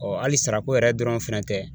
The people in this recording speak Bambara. hali sarako yɛrɛ dɔrɔn fana tɛ